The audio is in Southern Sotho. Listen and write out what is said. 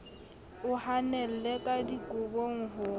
o hanelle ka dikobong ho